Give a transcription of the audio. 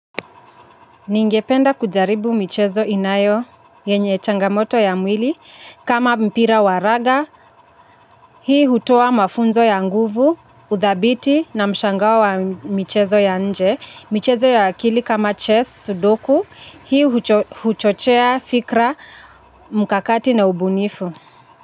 Ningependa kujaribu michezo inayo, yenye changamoto ya mwili, kama mpira wa raga, hii hutoa mafunzo ya nguvu, uthabiti na mshangao wa michezo ya nje, michezo ya akili kama chess sudoku, hii huchochea fikra mkakati na ubunifu.